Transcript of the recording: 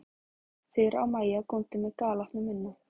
Þura og Maja góndu með galopna munna.